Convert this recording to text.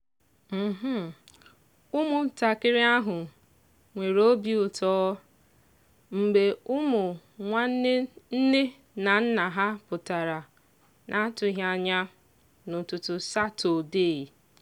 ụmụntakịrị ahụ nwere obi ụtọ mgbe ụmụ nwanne nne na nna ha pụtara n'atụghị anya n'ụtụtụ satọdee.